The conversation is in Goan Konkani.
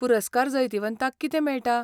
पुरस्कार जैतिवंतांक कितें मेळटा?